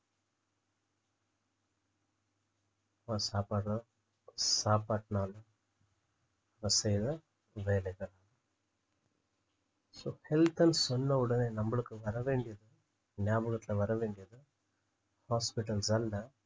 first சாப்பாடுதான் சாப்பாட்டுனால செய்த வேலைகள் sohealth ன்னு சொன்ன உடனே நம்மளுக்கு வர வேண்டியது நியாபகத்துல வரவேண்டியது hospitals அல்ல